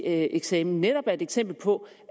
at eksamen netop er et eksempel på